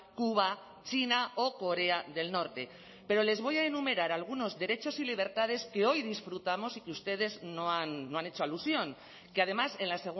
cuba china o corea del norte pero les voy a enumerar algunos derechos y libertades que hoy disfrutamos y que ustedes no han hecho alusión que además en la